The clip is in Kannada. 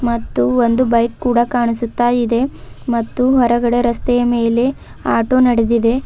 ಮತ್ತು ಒಂದು ಬೈಕ್ ಕೂಡ ಕಾಣಿಸುತ್ತಾ ಇದೆ ಮತ್ತು ಹೊರಗಡೆ ರಸ್ತೆಯ ಮೇಲೆ ಆಟೋ ನಡೆದಿದೆ.